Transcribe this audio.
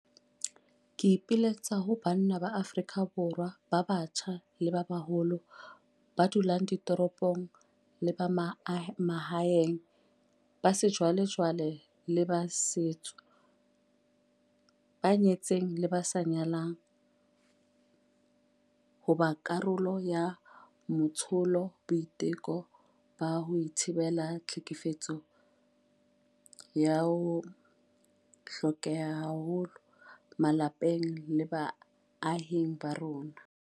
Ke ipiletsa ho banna ba Afrika Borwa ba batjha le ba baholo, ba dulang ditoropong le ba mahaeng, ba sejwalejwale le ba setso, ba nyetseng le ba sa nyalang, ho ba karolo ya matsholo a boiteko ba ho thibela tlhekefetso a hlokehang haholo malapeng le baahing ba rona.